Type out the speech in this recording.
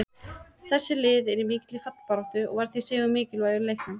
Þessi lið eru í mikilli fallbaráttu og var því sigur mikilvægur í leiknum.